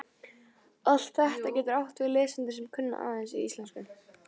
Allt þetta getur átt við lesendur sem kunna aðeins íslensku.